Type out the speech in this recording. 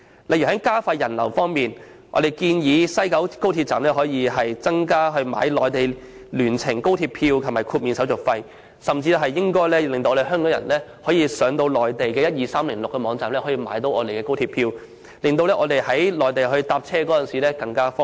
例如在加快人流方面，我們建議在廣深港高速鐵路西九龍總站增設購買內地聯程高鐵票的服務及豁免手續費，甚至讓港人可透過內地12306網站購買高鐵車票，令港人在內地乘車更為方便。